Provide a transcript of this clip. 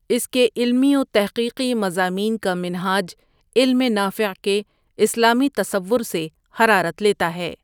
اس کے علمی و تحقیقی مضامین کامنہاج علم نافع کے اسلامی تصور سے حرارت لیتا ہے ۔